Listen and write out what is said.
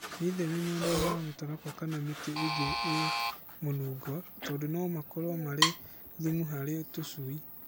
Wĩtheme monũro ma mũtarakwa kana ma mĩtĩ ĩngĩ ĩ mũnungo, tondũ no makorwo marĩ thumu harĩ tũcui.